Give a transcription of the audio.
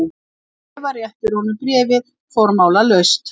Eva réttir honum bréfið formálalaust.